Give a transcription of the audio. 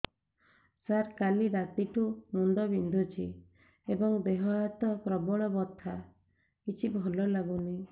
ସାର କାଲି ରାତିଠୁ ମୁଣ୍ଡ ବିନ୍ଧୁଛି ଏବଂ ଦେହ ହାତ ପ୍ରବଳ ବଥା କିଛି ଭଲ ଲାଗୁନି